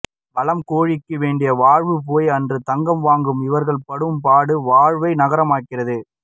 வளம் கொழிக்க வேண்டிய வாழ்வு போய் அன்று தங்கம் வாங்க இவர்கள் படும்பாடு வாழ்வை நரகமாக்குகிறது